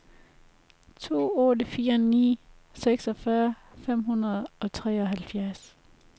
to otte fire ni seksogfyrre fem hundrede og treoghalvfjerds